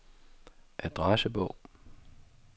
adressebog